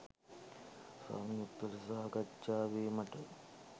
සංයුක්ත ලෙස සාකච්ඡා වීමට